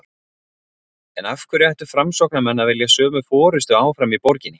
En af hverju ættu framsóknarmenn að vilja sömu forystu áfram í borginni?